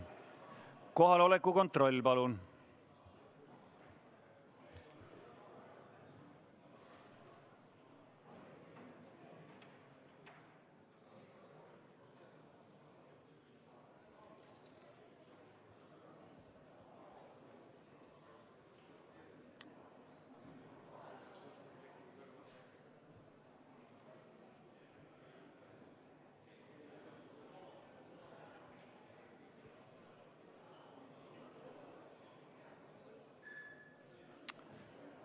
Kohaloleku kontroll, palun!